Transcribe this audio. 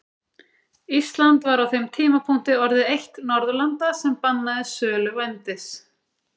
Ísland var á þeim tímapunkti orðið eitt Norðurlanda sem bannaði sölu vændis.